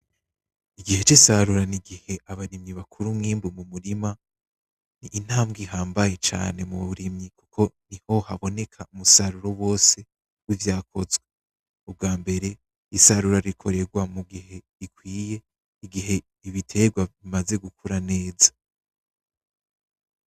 Igihe c'isarura ni igihe abarimyi bakura umwimbu mu murima ni intambge ihambaye cane mu burimyi. Niho haboneka umusaruro wose wivyakozwe ,ubgambere isarura rikorerwa mu gihe gikwiye, igihe ibitegwa bimaze gukura neza.